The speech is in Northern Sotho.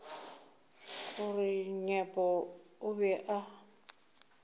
gore nyepo o be a